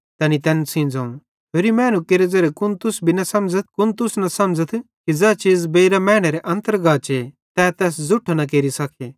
तैनी तैन सेइं ज़ोवं होरि मैनू केरे ज़ेरे कुन तुस भी न समझ़थ कुन तुस न समझ़थ कि ज़ै चीज़ बेइरां मैनेरे अन्तर गाचे तै तैस ज़ुट्ठो न केरि सके